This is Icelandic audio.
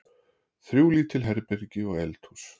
Þrjú lítil herbergi og eldhús.